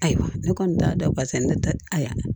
Ayiwa ne kɔni t'a dɔn pasa ne tɛ a y'a kɛ